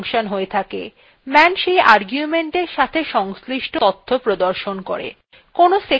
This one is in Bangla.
man সেই argumentsএর সাথে সংশ্লিষ্ট তথ্য প্রদর্শন করে